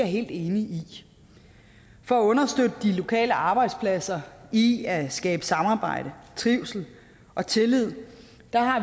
helt enig i for at understøtte de lokale arbejdspladser i at skabe samarbejde trivsel og tillid